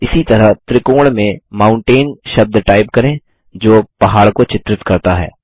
इसी तरह त्रिकोण में माउंटेन शब्द टाइप करें जो पहाड़ को चित्रित करता है